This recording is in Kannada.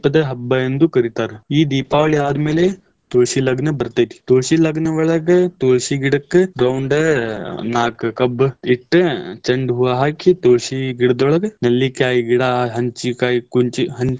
ಹಬ್ಬ ಎಂದು ಕರೀತಾರ. ಈ ದೀಪಾವಳಿ ಆದ್ಮೇಲೆ ತುಳಸಿ ಲಗ್ನ ಬರ್ತೇತಿ ತುಳಸಿ ಲಗ್ನ ಒಳಗ್ ತುಳಸಿ ಗಿಡಕ್ಕ್ ದೌನ್ಡ್ ನಾಕ್ ಕಬ್ಬ ಇಟ್ಟ ಚೆಂಡ್ ಹೂವಾ ಹಾಕಿ ತುಳಸಿ ಗಿಡದೊಳಗ ನೆಲ್ಲಿಕಾಯಿ ಗಿಡಾ, ಹಂಚಿ ಕಾಯಿ, ಕುಂಚಿ.